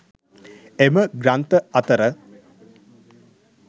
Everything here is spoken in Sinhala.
එම ග්‍රන්ථ අතර